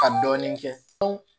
Ka dɔɔnin kɛ